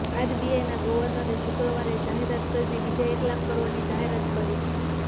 આરબીઆઈના ગર્વનરે શુક્રવારે જાહેરાત કરીને બીજા એક લાખ કરોડની જાહેરાત કરી છે